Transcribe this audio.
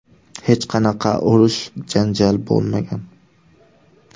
Hech qanaqa urish-janjal bo‘lmagan.